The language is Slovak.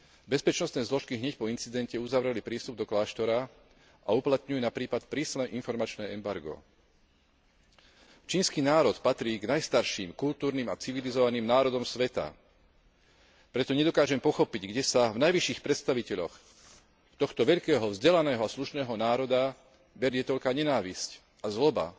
Bezpečnostné zložky hneď po incidente uzavreli prístup do kláštora a uplatňujú na prípad prísne informačné embargo. Čínsky národ patrí k najstarším kultúrnym a civilizovaným národom sveta, preto nedokážem pochopiť, kde sa v najvyšších predstaviteľoch tohto veľkého, vzdelaného a slušného národa berie toľká nenávisť a zloba